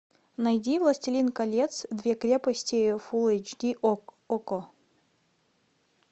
найди властелин колец две крепости фул эйч ди окко